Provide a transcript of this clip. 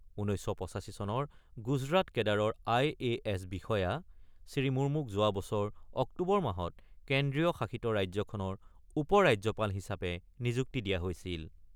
১৯৮৫ চনৰ গুজৰাট কেডাৰৰ আইএছ বিষয়া শ্ৰীমুৰ্মুক যোৱা বছৰ অক্টোবৰ মাহত কেন্দ্ৰীয় শাসিত ৰাজ্যখনৰ উপৰাজ্যপাল হিচাপে নিযুক্তি দিয়া হৈছিল।